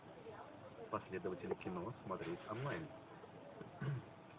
последователь кино смотреть онлайн